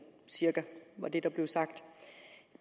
cirka det der blev sagt